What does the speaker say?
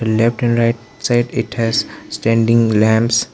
Left and right side it has standing lamps.